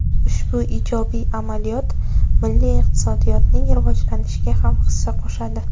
Ushbu ijobiy amaliyot milliy iqtisodiyotning rivojlanishiga ham hissa qo‘shadi.